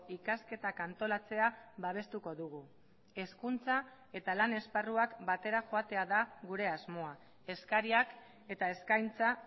ikasketak antolatzea babestuko dugu hezkuntza eta lan esparruak batera joatea da gure asmoa eskariak eta eskaintza